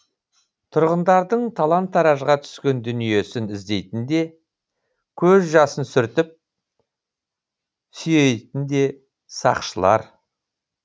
тұрғындардың талан таражға түскен дүниесін іздейтін де көз жасын сүртіп сүйейтін де сақшылар